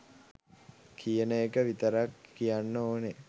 කියන එක විතරක් කියන්න ඕන